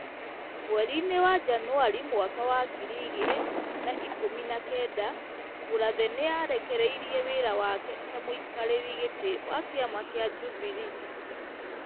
Mweri-inĩ wa Janũarĩ mwaka wa ngiri igĩrĩ na ikũmi na kenda Mũrathe nĩ arekereirie wĩra wake ta mũikarĩri gĩtĩ wa kĩama kĩa Jubilee .